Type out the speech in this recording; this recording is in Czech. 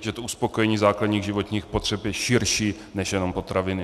že to uspokojení základních životních potřeb je širší než jenom potraviny.